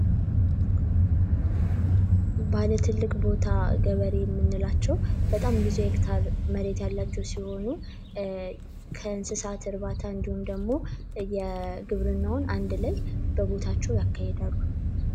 ባለትልቅ ቦታ ገበሬ የምንላቸው በጣም ብዙ ሄክታር መሬት ያላቸው ሲሆኑ ከእንሰሳት እርባታ እንዲሁም ደግሞ ግብርናውን አንድ ላይ በቦታቸው ያካሂዳሉ።